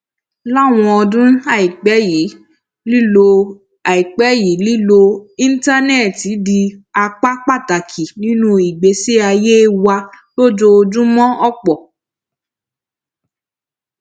láwọn ọdún àìpé yìí lílo àìpé yìí lílo íńtánéètì ti di apá pàtàkì nínú ìgbésí ayé wa lójoojúmó òpò